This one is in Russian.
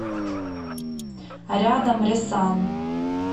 рядом ресан